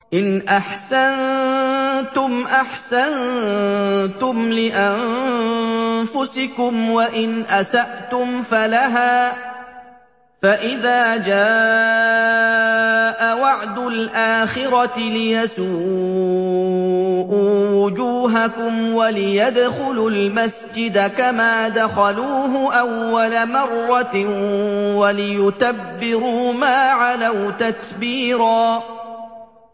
إِنْ أَحْسَنتُمْ أَحْسَنتُمْ لِأَنفُسِكُمْ ۖ وَإِنْ أَسَأْتُمْ فَلَهَا ۚ فَإِذَا جَاءَ وَعْدُ الْآخِرَةِ لِيَسُوءُوا وُجُوهَكُمْ وَلِيَدْخُلُوا الْمَسْجِدَ كَمَا دَخَلُوهُ أَوَّلَ مَرَّةٍ وَلِيُتَبِّرُوا مَا عَلَوْا تَتْبِيرًا